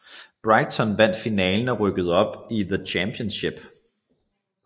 Brighton vandt finalen og rykkede op i The Championship